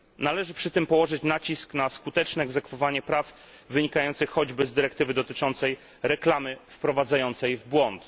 Należy przy tym położyć nacisk na skuteczne egzekwowanie praw wynikających choćby z dyrektywy dotyczącej reklamy wprowadzającej w błąd.